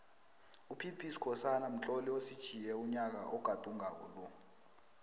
upbskhosana umtloli usitjhiye unyaka ogadungako lo